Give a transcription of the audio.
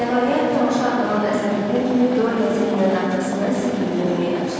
Nəhayət, tamaşa adlanan əzab bitən kimi Dorian səhnənin arxasına Sibili görməyə qaçdı.